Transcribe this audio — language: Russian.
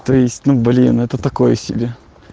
то есть ну блин это такое себе